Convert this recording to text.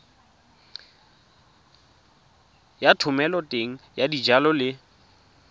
ya thomeloteng ya dijalo le